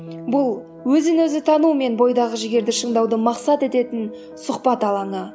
бұл өзін өзі тану мен бойдағы жігерді шыңдауды мақсат ететін сұхбат алаңы